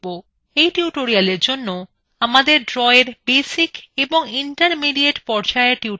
এই tutorialএর জন্য আমাদের drawএর basic এবং ইন্টারমিডিএট পর্যায়ের tutorialগুলি জানা প্রয়োজন